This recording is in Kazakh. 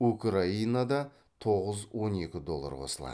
украинада тоғыз он екі доллар қосылады